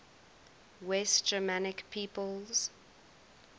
west germanic peoples